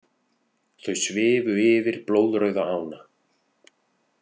Þau svifu yfir blóðrauða ána.